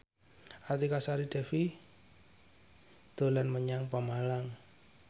Artika Sari Devi dolan menyang Pemalang